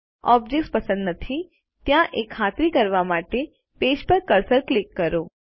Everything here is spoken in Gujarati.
કોઈપણ ઓબ્જેક્ત્સ પસંદ નથી થયા એ ખાતરી કરવા માટે પેજ પર કર્સર ક્લિક કરો